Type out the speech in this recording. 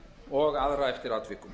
og aðra eftir atvikum